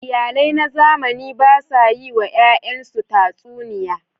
Iyalai na zamani ba sa yiwa yayansu tatsuniya.